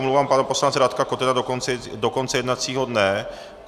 Omlouvám pana poslance Radka Kotena do konce jednacího dne.